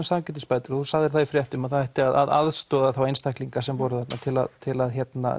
sanngirnisbætur og þú sagðir það í fréttunum að það ætti að aðstoða einstaklinga sem voru þarna til að til að